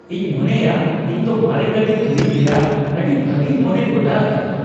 ᱤᱧ ᱢᱚᱱᱮᱭᱟ ᱤᱧ ᱫᱚ ᱢᱟᱨᱮ ᱜᱟᱹᱰᱤ ᱠᱤᱨᱤᱧ ᱨᱮᱭᱟᱜ ᱟᱹᱰᱤ ᱵᱷᱟᱜᱮᱧ ᱢᱚᱱᱮ ᱜᱚᱴᱟᱣᱟᱠᱟᱫᱟ ᱾